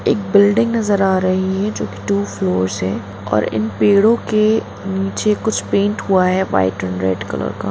एक बिल्डिंग नजर आ रही है जो कि टु फ्लोर्स है और इन पेड़ो के नीचे कुछ पेंट हुआ है व्हाइट एंड रेड कलर का --